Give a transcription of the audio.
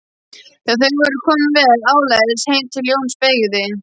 Þegar þau voru komin vel áleiðis heim til Jóns beygði